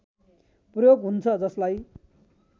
प्रयोग हुन्छ जसलाई